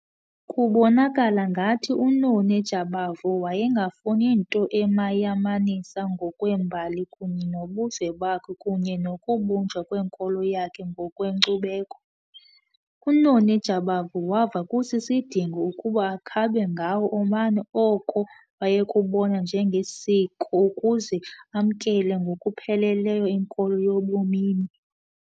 Kubonakala ngathi uNoni Jabavu wayengafuni nto emayamanisa ngokwembali kunye nobuzwe bakhe kunye nokubunjwa kwenkolo yakhe ngokwenkcubeko. UNoni Jabavu wava kusisidingo ukuba akhabe ngawo omane oko wayekubona njengesiko ukuze amkele ngokupheleleyo inkolo yobumini.